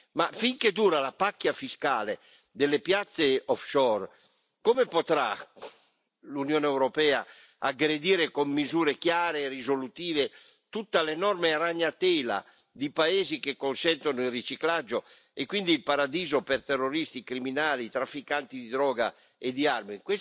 Ma finché dura la pacchia fiscale delle piazze offshore come potrà l'Unione europea aggredire con misure chiare e risolutive tutta l'enorme ragnatela di paesi che consentono il riciclaggio e sono quindi un paradiso per terroristi, criminali, trafficanti di droga e di armi?